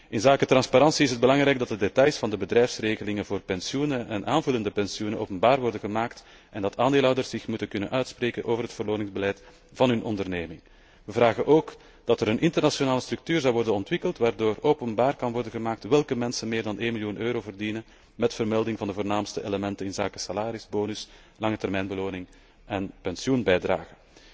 Inzake transparantie is het belangrijk dat de details van de bedrijfsregelingen voor pensioenen en aanvullende pensioenen openbaar worden gemaakt en dat aandeelhouders zich moeten kunnen uitspreken over het beloningsbeleid van hun onderneming. We vragen ook dat er een internationale structuur wordt ontwikkeld waardoor openbaar kan worden gemaakt welke mensen meer dan 1 miljoen euro verdienen, met vermelding van de voornaamste elementen inzake salarisbonussen, langetermijnbeloningen en pensioenbijdragen.